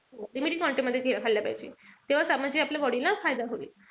Limited quantity मध्ये खाल्लं पाहिजे. तेव्हाच आपण जे आपल्या body ला फायदा होईल.